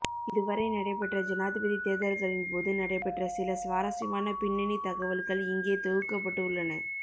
இதுவரை நடைபெற்ற ஜனாதிபதி தேர்தல்களின்போது நடைபெற்ற சில சுவாரஸ்யமான பின்னணி தகவல்கள் இங்கே தொகுக்கப்பட்டு உள்ளன